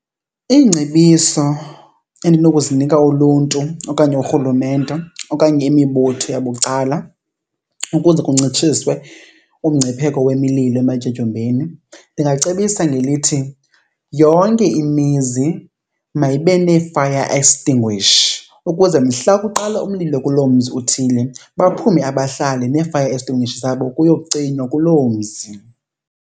Ingcebiso endinokuzinika uluntu okanye urhulumente okanye imibutho yabucala ukuze kuncitshiswe umngcipheko wemililo ematyotyombeni, ndingacebisa ngelithi yonke imizi mayibe nee-fire extinguisher. Ukuze mhla kuqala umlilo kuloo mzi uthile baphume abahlali nee-fire extinguisher zabo kuyocinywa kuloo mzi.